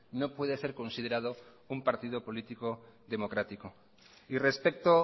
no puede ser considerado un partido político democrático y respecto